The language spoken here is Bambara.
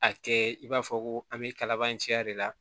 A kɛ i b'a fɔ ko an bɛ kalabanciya de la